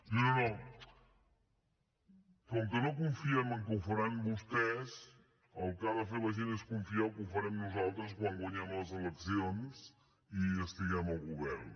diu no com que no confiem en que ho faran vostès el que ha de fer la gent és confiar que ho farem nosaltres quan guanyem les eleccions i estiguem al govern